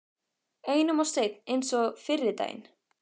Einum of seinn eins og fyrri daginn!